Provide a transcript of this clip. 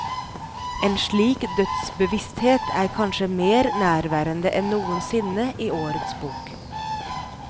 En slik dødsbevissthet er kanskje mer nærværende enn noensinne i årets bok.